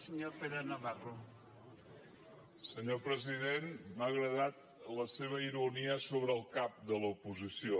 senyor president m’ha agradat la seva ironia sobre el cap de l’oposició